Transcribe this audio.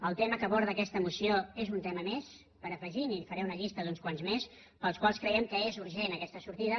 el tema que aborda aquesta moció és un tema més per afegir i li faré una llista d’uns quants més pels quals creiem que és urgent aquesta sortida